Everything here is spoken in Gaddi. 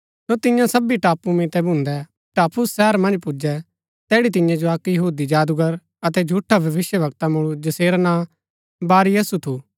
सो तियां सबी टापू मितै भून्दै पाफुस शहर मन्ज पुजै तैड़ी तियां जो अक्क यहूदी जादूगर अतै झूठा भविष्‍यवक्ता मुळू जसेरा नां बारयसु थु